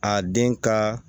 A den ka